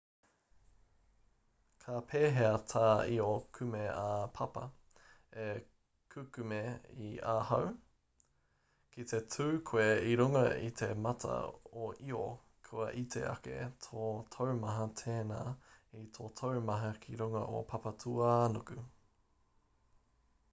ka pēhea tā io kume-ā-papa e kukume i ahau ki te tū koe i runga i te mata o io kua iti ake tō taumaha tēnā i tō taumaha ki runga o papatūānuku